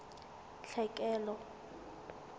tlhekelo